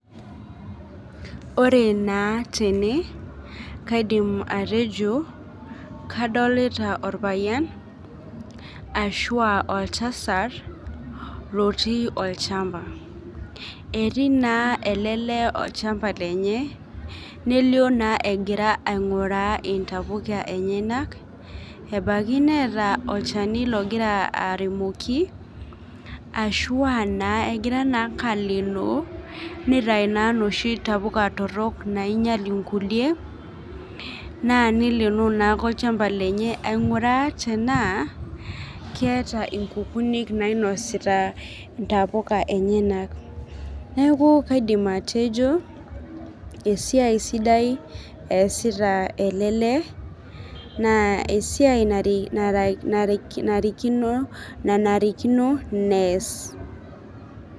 Ore naa tene kaidim atejo kadolita orpayian ashua oltasat lotii olchamba etii naa ele lee olchamba lenye nelio naa egira aing'uraa intapuka enyenak ebaki neeta olchani logira aremoki ashua naa egira naake alenoo nitai naa loshi tapuka torrok nainyial inkulie naa nileeno naake olchamba lenye aing'uraa tenaa keeta inkukunik nainosita intapuka enyenak neku kaidim atejo esiai sidai esita ele lee naa esiai nare narikino nanarikino nees.